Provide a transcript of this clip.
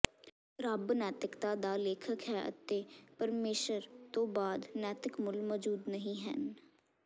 ਰੱਬ ਨੈਤਿਕਤਾ ਦਾ ਲੇਖਕ ਹੈ ਅਤੇ ਪਰਮੇਸ਼ਰ ਤੋਂ ਬਾਹਰ ਨੈਤਿਕ ਮੁੱਲ ਮੌਜੂਦ ਨਹੀਂ ਹਨ